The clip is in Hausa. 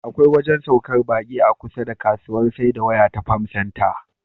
Akwai wajen saukar baƙi a kusa da kasuwar saida waya ta Farm Center.